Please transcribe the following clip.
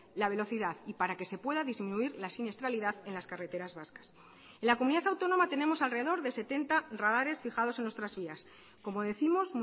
la velocidad y para que se pueda disminuir la siniestralidad en las carreteras vascas en la comunidad autónoma tenemos alrededor de setenta radares fijados en nuestras vías como décimos